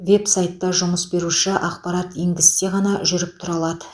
веб сайтына жұмыс беруші ақпарат енгізсе ғана жүріп тұра алады